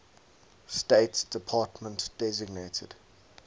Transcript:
state department designated